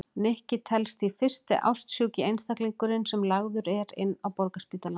Nikki telst því fyrsti ástsjúki einstaklingurinn sem lagður er inn á Borgarspítalann.